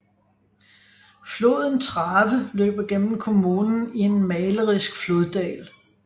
Floden Trave løber gennem kommunen i en malerisk floddal